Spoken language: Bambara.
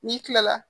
N'i kilala